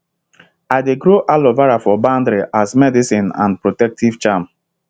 i dey grow aloe vera for boundary as medicine and protective charm